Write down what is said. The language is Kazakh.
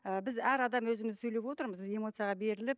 ііі біз әр адам өзіміз сөйлеп отырмыз эмоцияға беріліп